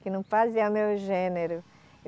Que não fazia o meu gênero.